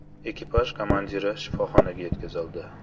Ekipaj komandiri shifoxonaga yetkazildi.